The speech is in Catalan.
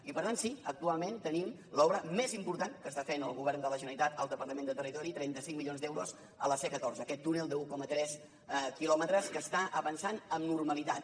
i per tant sí actualment tenim l’obra més important que està fent el govern de la generalitat al departament de territori trenta cinc milions d’euros a la c catorze aquest túnel d’un coma tres quilòmetres que està avançant amb normalitat